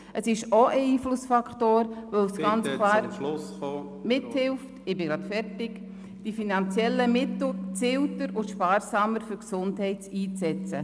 Es ist auch ein Einflussfaktor, weil es ganz klar… Ich bin gleich fertig – …weil es mithilft, die finanziellen Mittel gezielter und sparsamer für die Gesundheit einzusetzen.